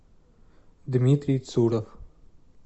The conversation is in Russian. дмитрий цуров